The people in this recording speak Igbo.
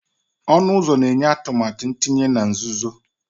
Ọnụ ụzọ na-enye atụmatụ ntinye na nzuzo